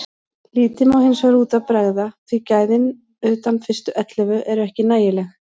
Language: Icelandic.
Lítið má hinsvegar út af bregða því gæðin utan fyrstu ellefu eru ekki nægileg.